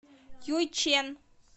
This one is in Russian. юйчэн